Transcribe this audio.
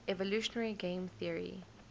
evolutionary game theory